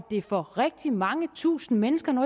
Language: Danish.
det for rigtig mange tusinde mennesker nu